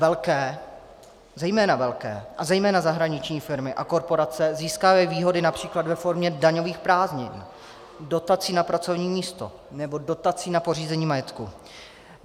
Velké, zejména velké a zejména zahraniční firmy a korporace získávají výhody například ve formě daňových prázdnin, dotací na pracovní místo nebo dotací na pořízení majetku.